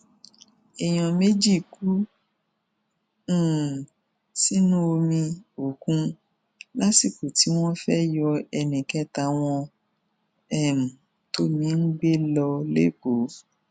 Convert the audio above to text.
èèyàn méjì kú um sínú omi òkun lásìkò tí wọn fẹẹ yọ ẹnì kẹta wọn um tómi ń gbé lọ lẹkọọ